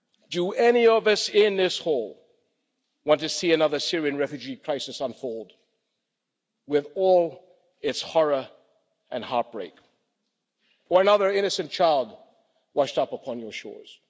Do any of us in this hall want to see another Syrian refugee crisis unfold, with all its horror and heartbreak? Or another innocent child washed up upon your shores?